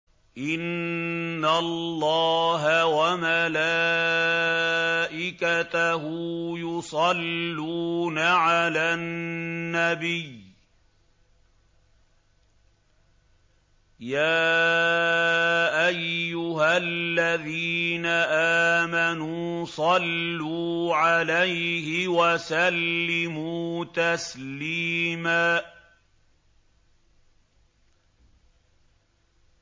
إِنَّ اللَّهَ وَمَلَائِكَتَهُ يُصَلُّونَ عَلَى النَّبِيِّ ۚ يَا أَيُّهَا الَّذِينَ آمَنُوا صَلُّوا عَلَيْهِ وَسَلِّمُوا تَسْلِيمًا